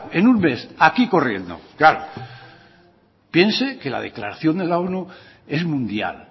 en un mes aquí corriendo claro piense que la declaración de la onu es mundial